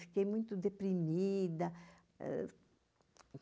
Fiquei muito deprimida.